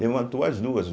Levantou as duas.